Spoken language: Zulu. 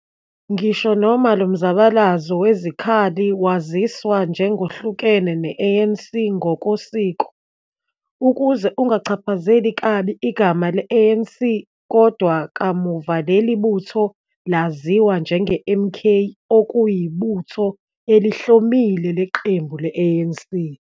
Ngisho noma lo mzabalazo wezikhali waziswa njengohlukene ne-ANC ngokosiko, ukuze ukuchaphazeli kabi igama le-ANC, kodwa kamuva leli butho laziwa njenge-MK okuyibutho elihlomile leqembu le-ANC.